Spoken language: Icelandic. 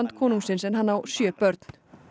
konungsins en hann á sjö börn